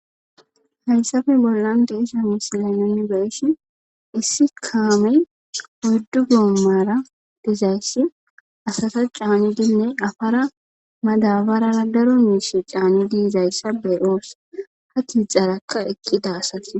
hayssafe bollan deisha misilay nuni beshi issi kaame oyddu goommara dizayssi asata caanidinne afara madabarara daro miishe caanni yidayssa bee7os ha tixarakka eqqida asati